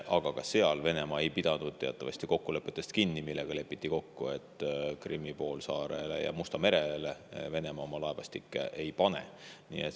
Aga ka siis Venemaa ei pidanud teatavasti kinni kokkulepetest, kuigi oli kokku lepitud, et Krimmi poolsaarele ja Mustale merele Venemaa oma laevastikku ei pane.